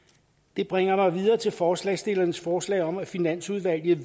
det bringer mig videre til forslagsstillernes forslag om at finansudvalget